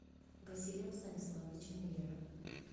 василием станиславовичем миллером